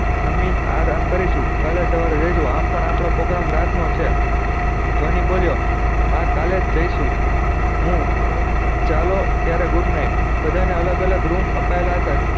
જમી ને આરામ કરીશું કાલે સવારે જયીસુ આમ પણ આપળે program રાત નો છે ધ્વની બોલ્યો હા કાલે જ જયીશું હું ચાલો અત્યારે good night બધા ને અલગ અલગ રૂમ અપાયલા હતા